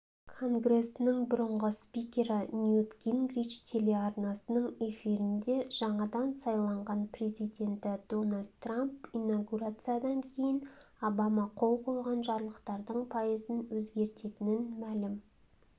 конгресінің бұрынғы спикері ньют гингрич телеарнасының эфирінде жаңадан сайланған президенті дональд трамп инаугурациядан кейін обама қол қойған жарлықтардың пайызын өзгертетінін мәлім